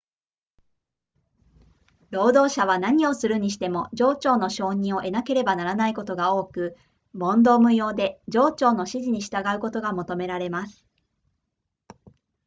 労働者は何をするにしても上長の承認を得なければならないことが多く問答無用で上長の指示に従うことが求められます